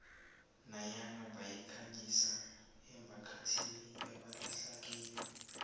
nanyana bayikhangisa emphakathini ebahlala kiyo